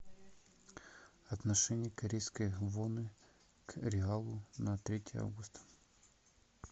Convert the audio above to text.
отношение корейской воны к реалу на третье августа